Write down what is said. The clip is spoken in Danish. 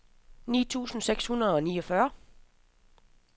ni tusind seks hundrede og niogfyrre